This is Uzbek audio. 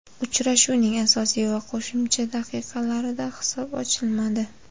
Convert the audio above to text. Uchrashuvning asosiy va qo‘shimcha daqiqalarida hisob ochilmadi.